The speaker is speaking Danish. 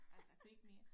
Altså kunne ikke mere